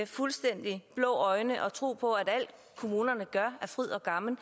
fuldstændig blå øjne og tro på at alt kommunerne gør er fryd og gammen